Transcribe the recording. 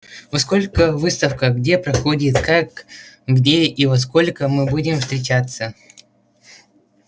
во сколько выставка где проходит как где и во сколько мы будем встречаться